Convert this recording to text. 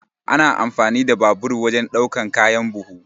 Ana amfani da babur wajan ɗaukan kayan buhu.